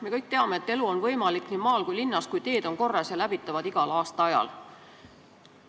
Me kõik teame, et elu on võimalik nii maal kui linnas, kui teed on korras ja läbitavad igal aastaajal.